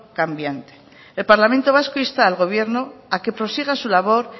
también el parlamento vasco insta al gobierno a que prosiga su labor